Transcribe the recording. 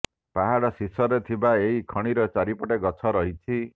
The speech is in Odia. ପାହାଡ଼ର ଶୀର୍ଷରେ ଥିବା ଏହି ଖଣିର ଚାରିପଟେ ଗଛ ରହିଛି